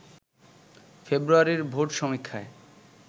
ফেব্রুয়ারির ভোট সমীক্ষায়